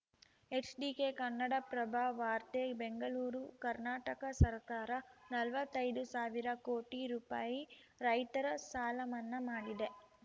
HDK Kannadaprabha ವಾರ್ತೆ ಬೆಂಗಳೂರು ಕರ್ನಾಟಕ ಸರಕಾರ ನಲ್ವತ್ತೈದು ಸಾವಿರ ಕೋಟಿ ರುಪಾಯಿ ರೈತರ ಸಾಲ ಮನ್ನಾ ಮಾಡಿದೆ